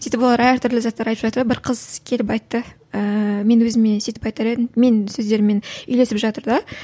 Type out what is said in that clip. сөйтіп олар әртүрлі заттар айтып жатыр да бір қыз келіп айтты ііі мен өзіме сөйтіп айтар едім менің сөздеріммен үйлесіп жатыр да